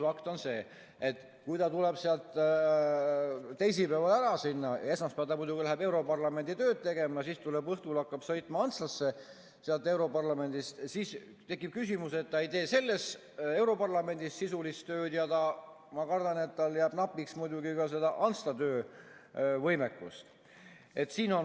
Fakt on see, et kui ta tuleb sealt teisipäeval ära, esmaspäeval muidugi läheb europarlamendi tööd tegema, aga õhtul hakkab juba sõitma sealt europarlamendist Antslasse, siis ta ei tee europarlamendis sisulist tööd ja ma kardan, et tal jääb napiks ka Antslas töövõimekust.